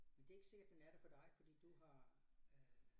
Men det ikke sikkert den er det for dig fordi du har øh